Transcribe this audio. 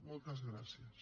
moltes gràcies